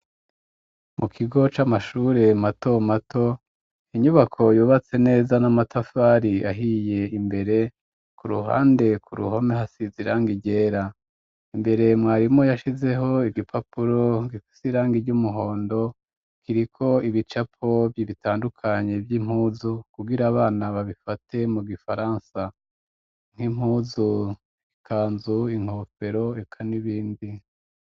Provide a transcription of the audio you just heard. Mu kigo c'amashure mato mato inyubako yubatse neza n'amatafari ahiye imbere ku ruhande ku ruhome hasizirang ryera imbere mwarimu yashizeho igipapuro gifis irangi ry'umuhondo kiriko ibicapo bibitandukanye vy'impuzu kubgira abana babifate mu gifaransa nk'impuzu, ikanzu, inkofero eka n'ibindi